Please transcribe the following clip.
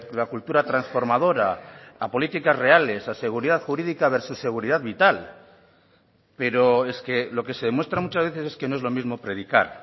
la cultura transformadora a políticas reales a seguridad jurídica versus seguridad vital pero es que lo que se demuestra muchas veces es que no es lo mismo predicar